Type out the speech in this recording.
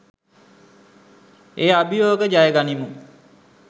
ඒ අභියෝග ජය ගනිමු.